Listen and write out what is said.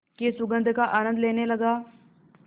की सुगंध का आनंद लेने लगा